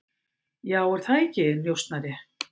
Já, er það ekki, njósnari?